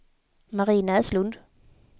Marie Näslund